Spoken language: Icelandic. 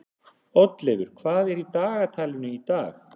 Oddleifur, hvað er í dagatalinu í dag?